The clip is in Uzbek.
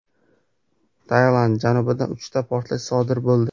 Tailand janubida uchta portlash sodir bo‘ldi.